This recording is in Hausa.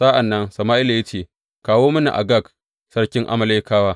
Sa’an nan Sama’ila ya ce, Kawo mini Agag sarkin Amalekawa.